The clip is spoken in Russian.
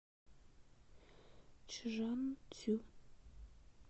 чжанцю